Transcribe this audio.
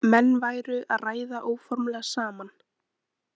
Menn væru að ræða óformlega saman